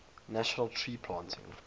national tree planting